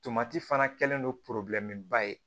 Tomati fana kɛlen don ba ye